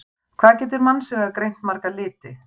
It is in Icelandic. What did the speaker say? Hvað getur mannsaugað greint marga liti?